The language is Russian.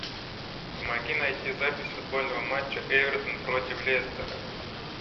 помоги найти запись футбольного матча эвертон против лестера